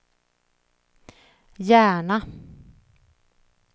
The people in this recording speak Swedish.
Järna